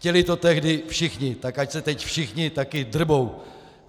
Chtěli to tehdy všichni, tak ať se teď všichni také drbou.